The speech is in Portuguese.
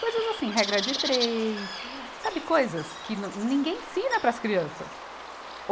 Coisas assim, regra de três, sabe coisas que não, ninguém ensina para as crianças.